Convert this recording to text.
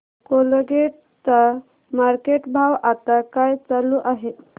Colgate चा market भाव आता काय चालू आहे